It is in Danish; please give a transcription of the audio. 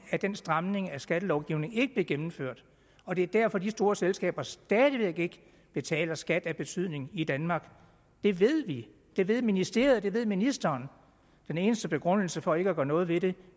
at den stramning af skattelovningen ikke blev gennemført og det er derfor de store selskaber stadig væk ikke betaler skat af betydning i danmark det ved vi det ved ministeriet det ved ministeren den eneste begrundelse for ikke at gøre noget ved det